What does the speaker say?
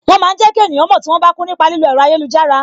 Wọn máa ń jẹ ki eniyan mo tí wọn bá kú nípa lílo ẹ̀rọ ayélujára